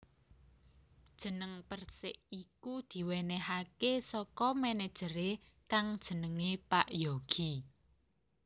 Jeneng Persik iku diwénéhaké saka manajeré kang jenenge Pak Yogi